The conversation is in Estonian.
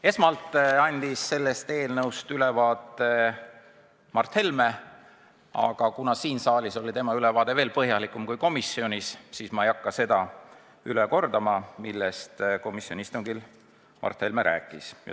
Esmalt andis eelnõust ülevaate Mart Helme, aga kuna siin saalis oli tema ülevaade veel põhjalikum kui komisjonis, siis ma ei hakka üle kordama, millest komisjoni istungil Mart Helme rääkis.